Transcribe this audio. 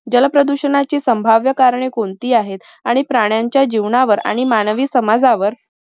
जल प्रदूषणाची संभाव्य कारणे कोणती आहेत आणि प्राण्यांच्या जीवनावर आणि मानवी समाजावर